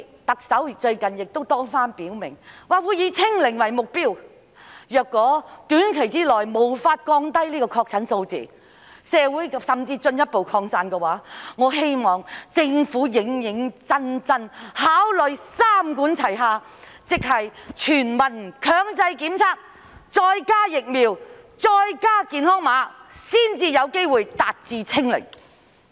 特首最近多番表明會以"清零"為目標，但如果短期內無法降低確診數字，甚至出現進一步擴散的話，我希望政府認真考慮"三管齊下"，即推行全民強制檢測，加上疫苗，再加上"健康碼"，這樣才有機會達致"清零"。